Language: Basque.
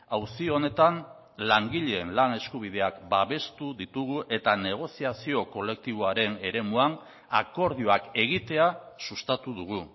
auzi honetan langileen lan eskubideak babestu ditugu eta negoziazio kolektiboaren eremuan akordioak egitea sustatu dugu